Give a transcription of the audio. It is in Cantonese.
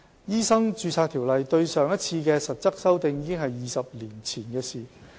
《醫生註冊條例》對上一次的實質修訂已是20年前的事。